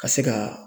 Ka se ka